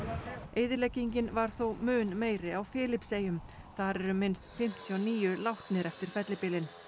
eyðileggingin var þó mun meiri á Filippseyjum þar eru minnst fimmtíu og níu látnir eftir fellibylinn